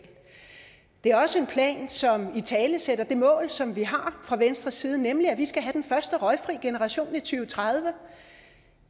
det er også en plan som italesætter det mål som vi har fra venstres side nemlig at vi skal have den første røgfri generation i to tusind og tredive